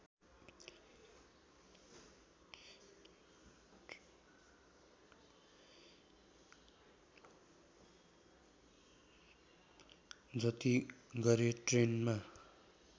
जति गरे ट्रेनमा